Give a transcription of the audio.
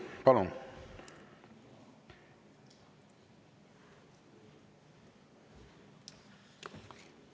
Palun!